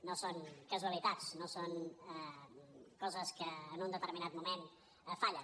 no són casualitats no són coses que en un determinat moment fallen